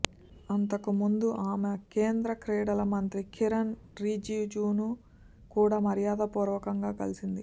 అంతకుముందు ఆమె కేంద్ర క్రీడల మంత్రి కిరణ్ రిజిజును కూడా మర్యాదపూర్వకంగా కలిసింది